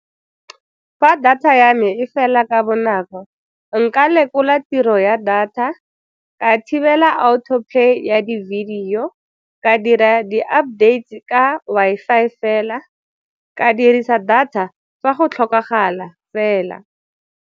Fa data ya me e fela ka bonako, nka lekola tiro ya data, ka thibela autoplay ya di-video, ka dira di-updates ka Wi-Fi fela, ka dirisa data fa go tlhokagala fela.